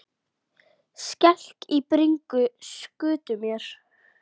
Skelk í bringu skutu mér.